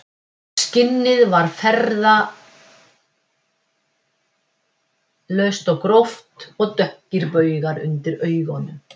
Skinnið var farðalaust og gróft og dökkir baugar undir augunum